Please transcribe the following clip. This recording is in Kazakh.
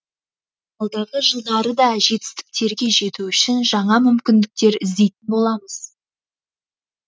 алдағы жылдары да жетістіктерге жету үшін жаңа мүмкіндіктер іздейтін боламыз